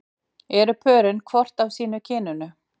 Eru pörin hvort af sínu kyninu?